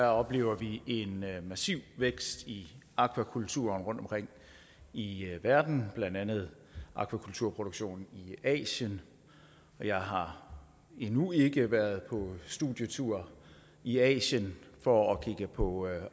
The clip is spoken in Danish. oplever vi en massiv vækst i aquakultur rundtomkring i verden blandt andet aquakulturproduktionen i asien jeg har endnu ikke været på studietur i asien for at se på